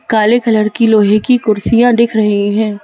काले कलर की लोहे की कुर्सियां दिख रही हैं।